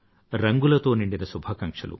రంగులతో నిండిన శుభాకాంక్షలు